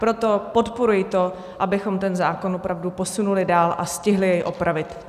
Proto podporuji to, abychom ten zákon opravdu posunuli dál a stihli jej opravit.